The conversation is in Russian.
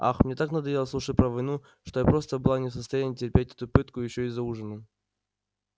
ах мне так надоело слушать про войну что я просто была не в состоянии терпеть эту пытку ещё и за ужином